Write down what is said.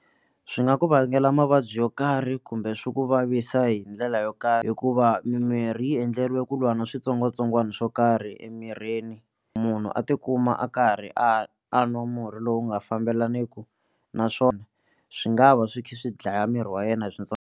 Swi nga ku vangela mavabyi yo karhi kumbe swi ku vavisa hi ndlela yo karhi hikuva mimirhi yi endleriwe ku lwa na switsongwatsongwana swo karhi emirini munhu a tikuma a karhi a a nwa murhi lowu nga fambelaniku naswona swi nga va swi kha swi dlaya miri wa yena hi .